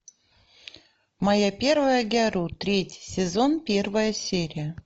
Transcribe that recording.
моя первая гяру третий сезон первая серия